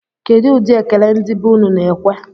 Kedụ ụdị ekele ndị be unu na-ekwe?